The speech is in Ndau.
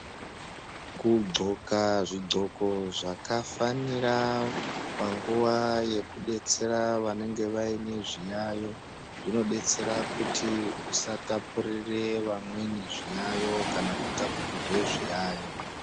Kugonxka zvigonxko zvakafanira panguwa yekudetsera vanenge vane zviyayo zvinodetsera kuti tisatapurira vamweni zviyayo kana kutapurirwa zviyayo.